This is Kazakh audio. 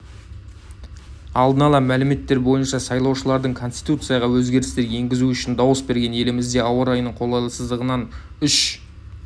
алдын ала мәліметтер бойынша сайлаушылардың конституцияға өзгерістер енгізу үшін дауыс берген елімізде ауа райының қолайсыздығынан үш